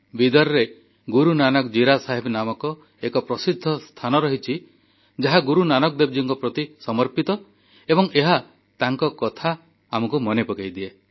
ବିଦରରେ ଗୁରୁନାନକ ଜୀରା ସାହେବ ନାମକ ଏକ ପ୍ରସିଦ୍ଧ ସ୍ଥାନ ରହିଛି ଯାହା ଗୁରୁ ନାନକ ଦେବଜୀଙ୍କ ପ୍ରତି ସମର୍ପିତ ଏବଂ ଏହା ତାଙ୍କ କଥା ଆମକୁ ମନେ ପକାଇଦିଏ